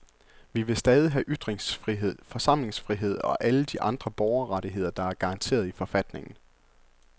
Vi vil stadig have ytringsfrihed, forsamlingsfrihed og alle de andre borgerrettigheder, der er garanteret i forfatningen.